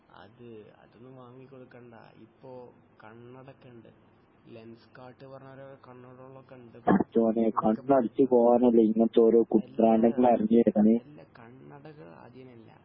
അത് അതൊന്നും വാങ്ങി കൊടക്കണ്ട ഇപ്പൊ കണ്ണടക്കണ്ട് ലെൻസ്കാർട്ട് എന്ന് പറഞ്ഞ കണ്ണടകൾ ഒക്കെ ഉണ്ട് അല്ല കണ്ണടകൾ അതിനല്ല